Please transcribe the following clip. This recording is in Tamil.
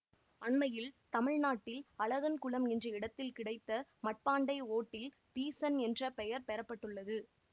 அண்மையில் தமிழ் நாட்டில் அழகன் குளம் என்ற இடத்தில் கிடைத்த மட்பாண்டை ஓட்டில் தீசன் என்ற பெயர் பெறப்பட்டுள்ளது